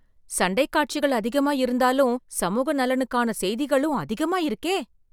சண்டைக் காட்சிகள் அதிகமா இருந்தாலும் சமூக நலனுக்கான செய்திகளும் அதிகமா இருக்கே